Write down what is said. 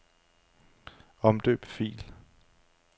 Omdøb fil.